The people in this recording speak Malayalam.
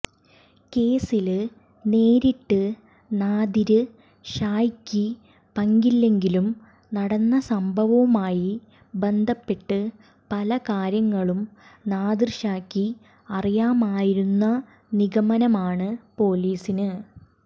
കേസില് നേരിട്ട് നാദിര് ഷായ്ക്ക് പങ്കില്ലെങ്കിലും നടന്ന സംഭവവുമായി ബന്ധപ്പെട്ട് പല കാര്യങ്ങളും നാദിര് ഷായ്ക്ക് അറിയാമായിരുന്ന നിഗമനമാണ് പൊലീസിന്